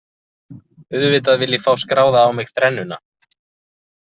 Auðvitað vil ég fá skráða á mig þrennuna.